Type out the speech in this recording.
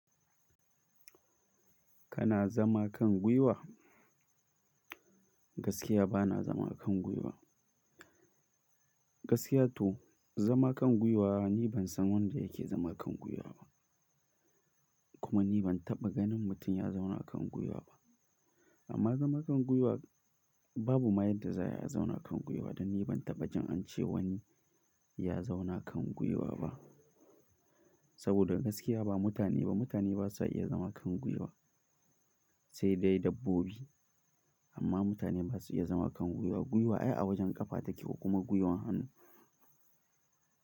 Kana zama kan gwiwa? Gaskiya ba na zama akan gwiwa. Gaskiya to, zama kan gwiwa ni ban san wanda yake zama kan gwiwa ba. Kuma ni ban taɓa ganin mutum ya zauna kan gwiwa ba. Amma zama kan gwiwa babu ma yadda za a zauna kan gwiwa. To ni ban taɓa jin an ce wani ya zauna kan gwiwa ba. Saboda gaskiya ba mutane ba, mutane ba su iya zama kan gwiwa. Sai dai dabbobi. Amma mutane ba su iya zama kan gwiwa. Gwiwa ai a wajen ƙafa take ko kuma gwiwan hannu.